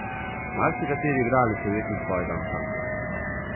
Marsikateri igralec je ujetnik svojega ansambla.